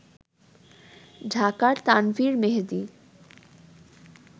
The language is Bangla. ঢাকার তানভীর মেহেদি